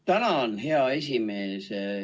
Tänan, hea esimees!